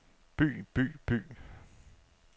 by by by